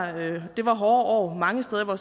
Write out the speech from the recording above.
at det var hårde år mange steder